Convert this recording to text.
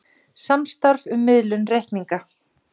Samstarf um miðlun reikninga